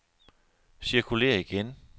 cirkulér igen